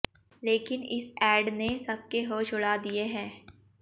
लेकिन इस एड ने सबके होश उड़ा दिए हैं